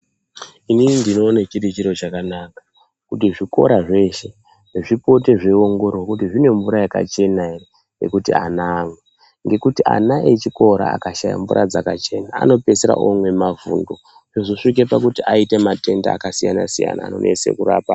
Inini ndinoone chiri chiro chakanaka kuti zvikora zveshe zvipone zveiongororwa kuti zvine mvura yakachena ere yekuti ana amwe ngekuti ana echikora akashata mvura dzakachena anopedzisira imwe mavhundu zvozosvike pakuti aite matenda akasiyana siyana anonese kurapa.